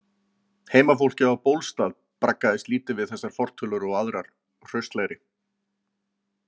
Heimafólkið á Bólstað braggaðist lítið við þessar fortölur og aðrar hraustlegri.